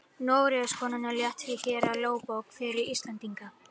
Noregskonungur lét því gera lögbók fyrir Íslendinga.